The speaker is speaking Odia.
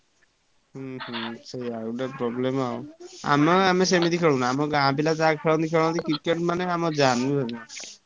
ହୁଁ ହୁଁ ସେୟା ଗୋଟେ problem ଆଉ ଆମ ଆମେ ସେମିତି ଖେଳୁନା। ଆମ ଗାଁ ପିଲା ଯାହା ଖେଳନ୍ତି ଖେଳନ୍ତି Cricket ମାନେ ଆମ जान ବୁଝିପାଇଲନା।